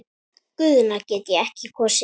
Guðna get ég ekki kosið.